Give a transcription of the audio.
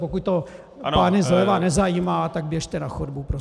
Pokud to pány zleva nezajímá, tak běžte na chodbu prosím.